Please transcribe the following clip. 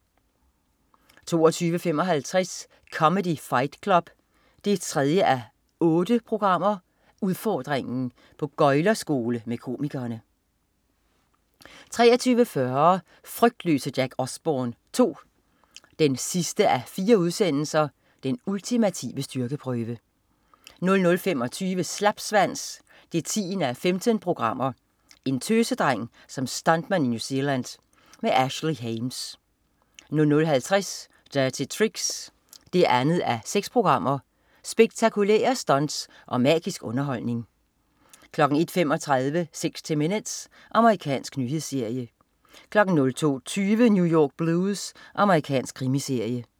22.55 Comedy Fight Club 3:8. Udfordringen. På gøglerskole med komikerne 23.40 Frygtløse Jack Osbourne 2 4:4. Den ultimative styrkeprøve 00.25 Slapsvans 10:15. En tøsedreng som stuntman i New Zealand. Ashley Hames 00.50 Dirty Tricks 2:6. Spektakulære stunts og magisk underholdning 01.35 60 minutes. Amerikansk nyhedsmagasin 02.20 New York Blues. Amerikansk krimiserie